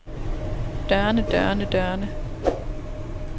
dørene dørene dørene